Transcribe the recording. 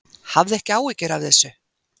Hafðu ekki áhyggjur af þessu.